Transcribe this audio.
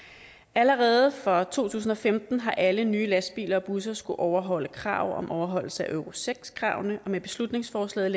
allerede fra to tusind og femten har alle nye lastbiler og busser skullet overholde krav om overholdelse af euro seks kravene og med beslutningsforslaget